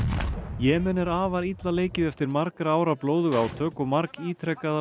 Jemen er illa leikið eftir margra ára blóðug átök og margítrekaðar